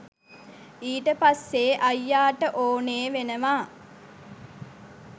ඊට පස්සේ අයියාට ඕනෙ වෙනවා